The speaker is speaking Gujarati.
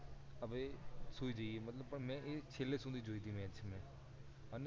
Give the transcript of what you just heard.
હવે સુઈ જયે મેં છેલ્લે સુધી જોઈ તી મેચ